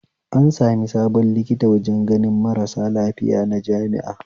An sami sabon likita wajen ganin marasu lafiya na jami'a